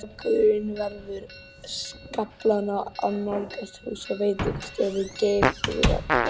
Strákurinn veður skaflana og nálgast hús og veitingastofu Geirþrúðar.